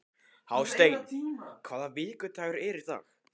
Hásteinn, hvaða vikudagur er í dag?